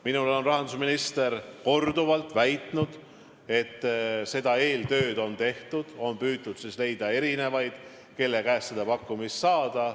Minule on rahandusminister korduvalt väitnud, et eeltöö on tehtud ja on püütud leida erinevaid büroosid, kelle käest pakkumist saada.